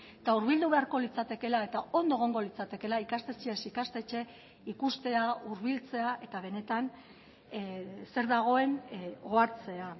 eta hurbildu beharko litzatekeela eta ondo egongo litzatekeela ikastetxez ikastetxe ikustea hurbiltzea eta benetan zer dagoen ohartzea